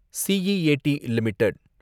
C E A T limited